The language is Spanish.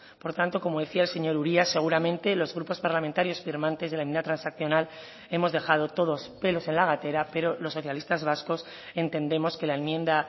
por tanto como decía el señor uria seguramente los grupos parlamentarios firmantes de la enmienda transaccional hemos dejado todos pelos en la gatera pero los socialistas vascos entendemos que la enmienda